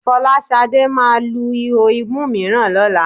Fọláṣadé máa lu ihò imú mìíràn lọ́la